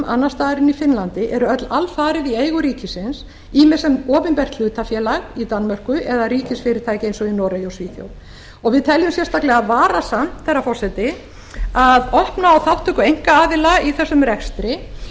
annars staðar en í finnlandi eru öll alfarið í eigu ríkisins ýmist sem opinbert hlutafélag í danmörku eða ríkisfyrirtæki eins og í noregi og svíþjóð og við teljum sérstaklega varasamt herra forseti að opna á þátttöku einkaaðila í þessum rekstri